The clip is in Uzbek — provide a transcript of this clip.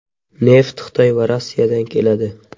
Neft Xitoy va Rossiyadan keladi.